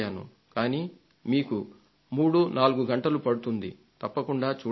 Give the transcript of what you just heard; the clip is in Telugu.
కానీ మీకు మూడు నాలుగు గంటలు పడుతుంది తప్పకుండా చూడండి